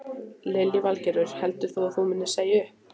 Lillý Valgerður: Heldur þú að þú munir segja upp?